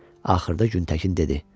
Axırda Güntəkin dedi: Dədə.